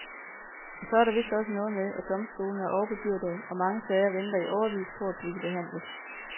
Og så er der vist også noget med, at domstolene er overbebyrdede og mange sager venter i årevis på at blive behandlet.